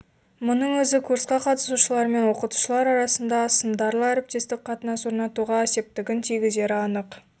мұның өзі курсқа қатысушылармен оқытушылар арасында сындарлы әріптестік қатынас орнатуға септігін тигізері анық